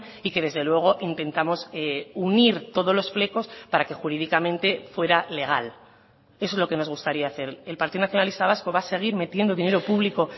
y que desde luego intentamos unir todos los flecos para que jurídicamente fuera legal eso es lo que nos gustaría hacer el partido nacionalista vasco va a seguir metiendo dinero público